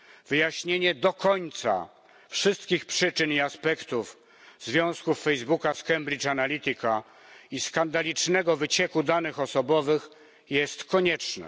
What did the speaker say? Wyjaśnienie do końca wszystkich przyczyn i aspektów związków Facebooka i Cambridge Analytica i skandalicznego wycieku danych osobowych jest konieczne.